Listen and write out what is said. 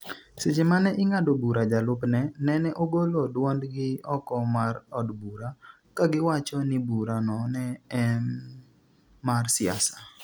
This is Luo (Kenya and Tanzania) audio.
seche mane ing'ado bura jolup ne nene ogolo dwond gi oko mar od bura kagiwacho ni bura no ne em mar siasa